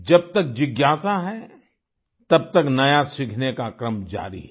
जब तक जिज्ञासा है तब तक नया सीखने का क्रम जारी है